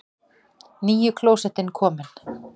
NÝJU KLÓSETTIN KOMIN!